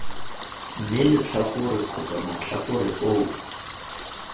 mme letlhakore kgotsa matlhakore oo